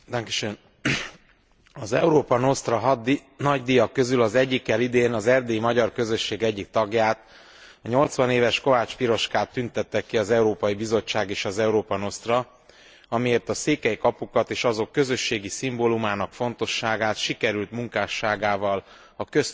Az Európa Nostra nagydíjak közül az egyikkel idén az erdélyi magyar közösség egyik tagját, a 80 éves Kovács Piroskát tüntette ki az Európai Bizottság és az Európa Nostra, amiért a székely kapukat és azok közösségi szimbólumának fontosságát sikerült munkásságával a köztudatba beépítenie,